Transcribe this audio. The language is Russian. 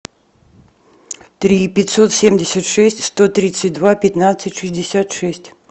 три пятьсот семьдесят шесть сто тридцать два пятнадцать шестьдесят шесть